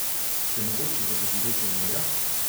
Ste mogoče za doživetje morja?